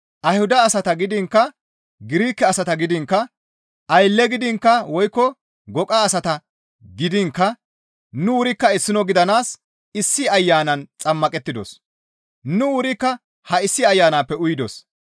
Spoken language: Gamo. Ayhuda asata gidiinkka Girike asata gidiinkka, aylle gidiinkka woykko goqa asata gidiinkka nu wurikka issino gidanaas issi Ayanan xammaqettidos; nu wurikka ha issi Ayanappe uyidos.